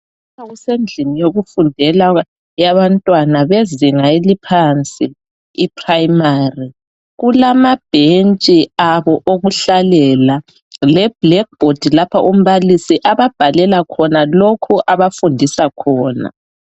Lapha kusendlini yokufundela yezinga eliphansi iprimary. Kulamabhentshi abo okuhlala leblackboard lapha umbalisi ababhalela khona lokho abafundisa khona.